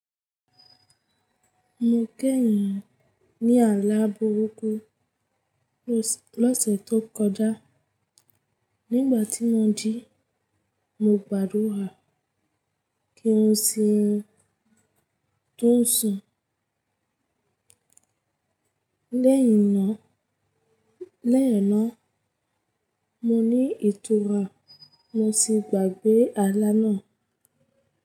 Mo gé ènìyàn ní ààlá burúkú lọ́sẹ̀ tó kọjá, nígbà tí mo jí, mo gbàdúrà kí ó sì tún ṣún. Lẹ́yìn náà, lẹ́yìn náà, mo ní ìtura mo sì gbàgbé ààlá náà.